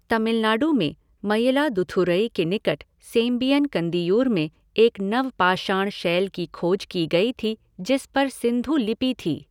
तमिलनाडु में मयिलादुथूरई के निकट सेम्बियन कंदियूर में एक नवपाषाण शैल की खोज की गई थी जिस पर सिंधु लिपि थी।